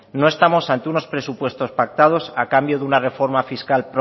no estamos ante unos presupuestos pactados a cambio de una reforma fiscal